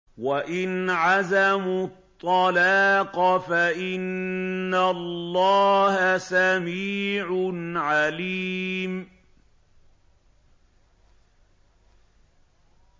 وَإِنْ عَزَمُوا الطَّلَاقَ فَإِنَّ اللَّهَ سَمِيعٌ عَلِيمٌ